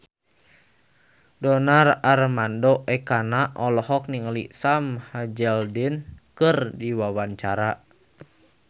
Donar Armando Ekana olohok ningali Sam Hazeldine keur diwawancara